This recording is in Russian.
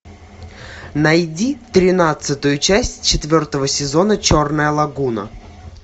найди тринадцатую часть четвертого сезона черная лагуна